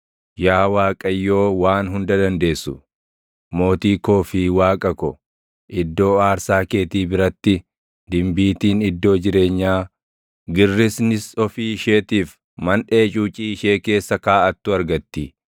Yaa Waaqayyoo Waan Hunda Dandeessu, Mootii koo fi Waaqa ko, iddoo aarsaa keetii biratti, dimbiitiin iddoo jireenyaa, girrisnis ofii isheetiif manʼee cuucii ishee keessa kaaʼattu argatti.